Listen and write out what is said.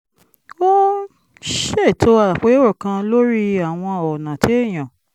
ó ṣètò àpérò kan lórí àwọn ọ̀nà téèyàn